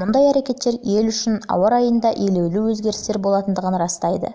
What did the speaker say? мұндай әрекеттер ел үшін ауа райында елеулі өзгерістер болатындығын растайды